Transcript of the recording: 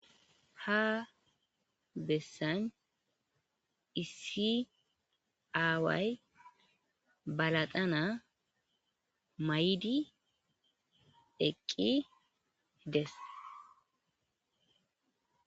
Ha besan issi away ba laxana mayidi eqi dees